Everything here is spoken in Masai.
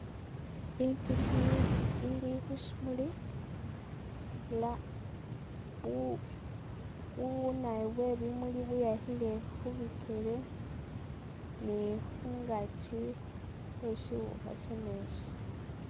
Inzukhi ili khu shimuli la bu bubunawoyu bwe bumuli bweyakhile khubikele ni khungaakyi Khwe shiwukha shene shi